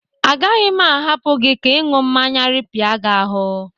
Agaghị m ahapụ gi ka ịñụ mmanya rịpịa gi ahụ.